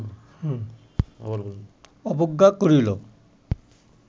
অবজ্ঞা করিল